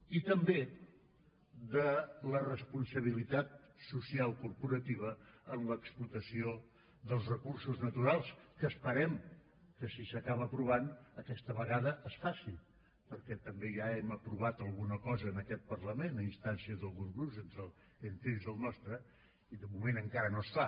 i també de la responsabilitat social corporativa en l’explotació dels recursos naturals que esperem que si s’acaba aprovant aquesta vegada es faci perquè també ja hem aprovat alguna cosa en aquest parlament a instàncies d’alguns grups entre ells el nostre i de moment encara no es fa